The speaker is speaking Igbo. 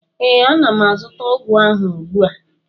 ee, ana m azụta ọgwụ ahụ ugbu a